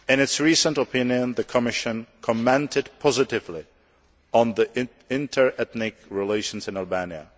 In its recent opinion the Commission commented positively on inter ethnic relations in Albania.